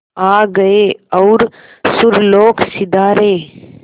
आ गए और सुरलोक सिधारे